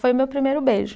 Foi o meu primeiro beijo.